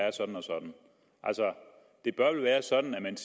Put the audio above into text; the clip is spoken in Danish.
er sådan og sådan det bør vel være sådan at